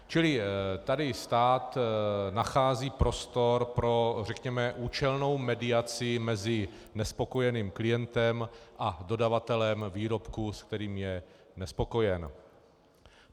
Čili tady stát nachází prostor pro řekněme účelnou mediaci mezi nespokojeným klientem a dodavatelem výrobku, se kterým je nespokojen.